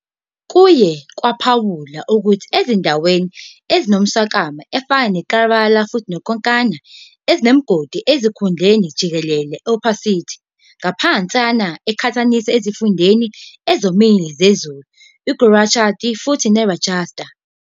Kuye kwaphawulwa ukuthi ezindaweni ezinomswakama efana Kerala futhi Konkan zinemigodi ezinkudlwana jikelele opacity ngaphansana eqhathaniswa ezifundeni ezomile sezulu Gujarat futhi Rajasthan.